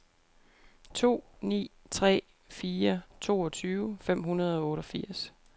to ni tre fire toogtyve fem hundrede og otteogfirs